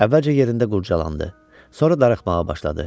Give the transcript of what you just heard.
Əvvəlcə yerində qurculandı, sonra darıxmağa başladı.